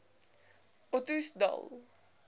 ottosdal